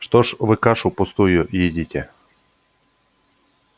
что ж вы кашу пустую едите